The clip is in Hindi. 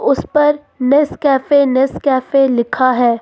उस पर नेस्कैफे नेस्कैफे लिखा है।